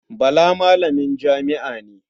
Bala malamin jami'a ne.